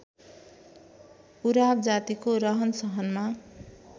उराव जातिको रहनसहनमा